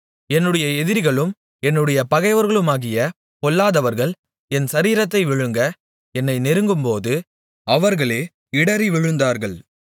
என்னுடைய எதிரிகளும் என்னுடைய பகைவர்களுமாகிய பொல்லாதவர்கள் என் சரீரத்தை விழுங்க என்னை நெருங்கும்போது அவர்களே இடறிவிழுந்தார்கள்